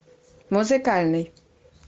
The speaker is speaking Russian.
музыкальный